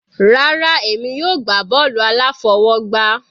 Rárá, èmi yóò gbá bọ́ọ̀lù aláfọwọgbá.